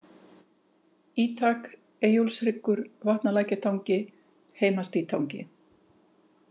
Ítak, Eyjólfshryggur, Vatnalækjartangi, Heimastítangi